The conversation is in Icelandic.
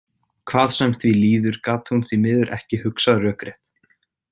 Hvað sem því líður gat hún því miður ekki hugsað rökrétt.